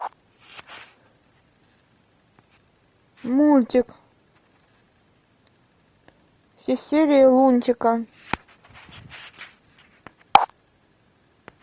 мультик все серии лунтика